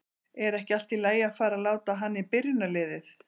Er ekki allt í lagi að fara að láta hann í byrjunarliðið?